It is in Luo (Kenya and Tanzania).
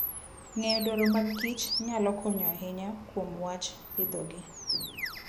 Ng'eyo dwaro mag kich nyalo konyo ahinya kuom wach pidhogi.